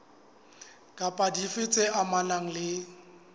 kapa dife tse amanang le